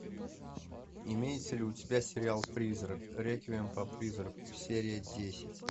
имеется ли у тебя сериал призрак реквием по призраку серия десять